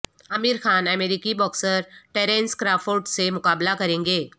عامر خان امریکی boxer Terence Crawford سے مقابلہ کریں گے